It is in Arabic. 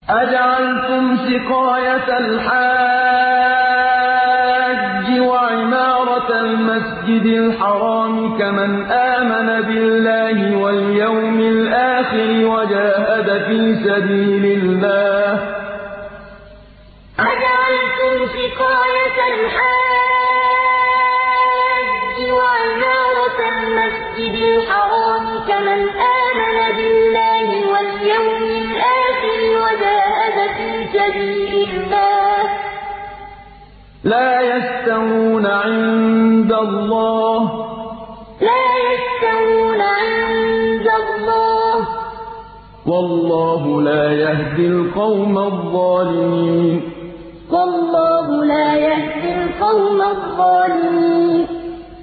۞ أَجَعَلْتُمْ سِقَايَةَ الْحَاجِّ وَعِمَارَةَ الْمَسْجِدِ الْحَرَامِ كَمَنْ آمَنَ بِاللَّهِ وَالْيَوْمِ الْآخِرِ وَجَاهَدَ فِي سَبِيلِ اللَّهِ ۚ لَا يَسْتَوُونَ عِندَ اللَّهِ ۗ وَاللَّهُ لَا يَهْدِي الْقَوْمَ الظَّالِمِينَ ۞ أَجَعَلْتُمْ سِقَايَةَ الْحَاجِّ وَعِمَارَةَ الْمَسْجِدِ الْحَرَامِ كَمَنْ آمَنَ بِاللَّهِ وَالْيَوْمِ الْآخِرِ وَجَاهَدَ فِي سَبِيلِ اللَّهِ ۚ لَا يَسْتَوُونَ عِندَ اللَّهِ ۗ وَاللَّهُ لَا يَهْدِي الْقَوْمَ الظَّالِمِينَ